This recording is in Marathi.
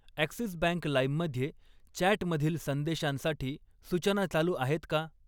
ॲक्सिस बँक लाईम मध्ये चॅटमधील संदेशांसाठी सूचना चालू आहेत का?